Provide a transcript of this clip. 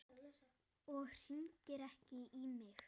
Og hringir ekki í mig.